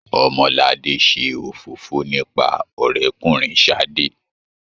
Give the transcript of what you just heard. Omolade ṣe òfófó nípa ọrẹkùnrin Sadé.